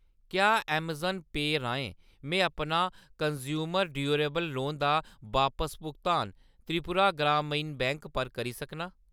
क्या अमेज़ॉन पेऽ राहें में अपना कनज़्यूमर ड्यूरेबल लोन दा बापस भुगतान त्रिपुरा ग्रामीण बैंक पर करी सकनां ?